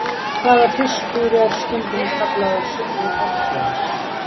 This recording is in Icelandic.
Hvaða fiskur er stundum kallaður silfur hafsins?